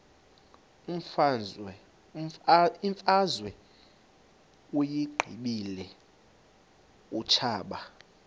imfazwe uyiqibile utshaba